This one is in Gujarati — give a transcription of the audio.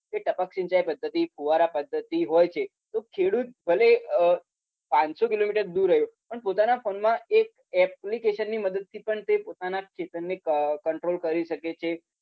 કે ટપક સિંચાઈ પદ્ધતિ ફુવારા પદ્ધતિ હોય છે તો ખેડૂત ભલે અમ પાંચસો કિલોમીટર દૂર હોય પણ પોતાના phone માં એક application ની મદદથી પણ તે પોતાના ખેતરને ક control કરી શકે છે